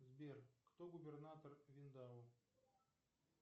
сбер кто губернатор виндао